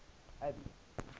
abby